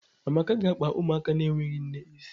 Amaka ga-akpa ụmụaka na-enweghị nne isi